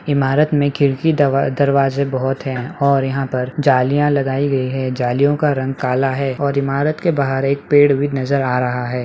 इमारत में खिड़की दवा दरवाजे बहुत है और यहाँ पर जालियां लगाई गयी है जालियों का रंग काला है और इमारत के बाहर एक पड़े भी नजर आ रहा है।